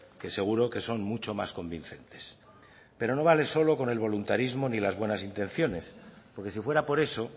que seguro que son mucho más convincentes pero no vale solo con el voluntarismo ni las buenas intenciones porque si fuera por eso